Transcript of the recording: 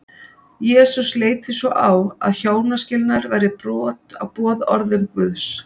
jesús leit því svo á að hjónaskilnaður væri brot á boðorðum guðs